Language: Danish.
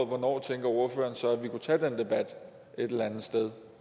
hvornår tænker ordføreren så at vi kunne tage den debat et eller andet sted